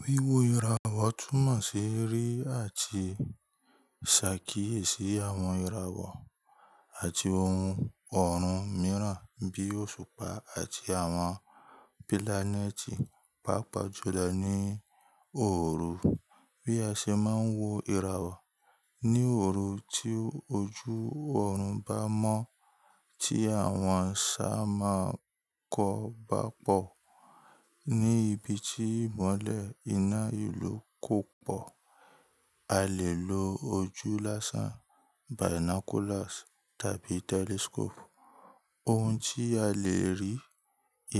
Wíwọ ìràwọ̀ túmọ̀ sí rí àti ṣàkíyèsí àwọn ìràwọ̀ àti ohun ọ̀run mìíràn bíi òṣùpá àti àwọn pilaneti, pàápàá julo ní òòru. Bí a ṣe máa ń wo ìràwọ̀ ní òòru tí ojú ọ̀run bá mọ́ tí àwọn ṣá máa kọ́ bá pọ̀ ní ibi tí ìmọ́lẹ̀ ìná ìlú kò pọ̀, a lè lo ojú lásán, binoculars tàbí telescope. Ohun tí a lè rí